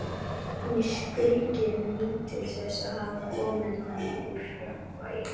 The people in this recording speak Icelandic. Hún skríkir, nýtur þess að hafa komið honum úr jafnvægi.